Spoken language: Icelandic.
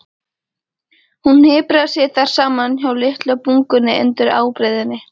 Hún hnipraði sig þar saman hjá litlu bungunni undir ábreiðunni.